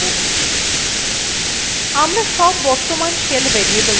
আমরা সব বর্তমান shell variableগুলি সেখতে পাচ্ছি